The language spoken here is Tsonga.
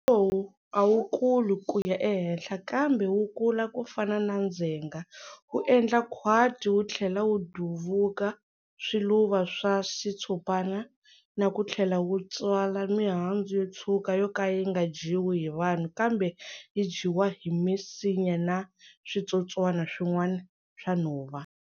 Lowu a wu kuli ku ya ehenhla kambe wu kula ku fana na ndzhenga, wu endla khwati wu tlhela wu duvuka swiluva swa xitshopana na ku tlhela wu tswala mihandzu yo tshwuka yo ka yi nga dyiwi hi vanhu kambe yi dyiwa hi misinya na switsotswana swin'wana swa nhova.